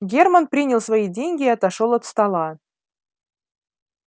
германн принял свои деньги и отошёл от стола